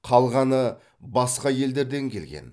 қалғаны басқа елдерден келген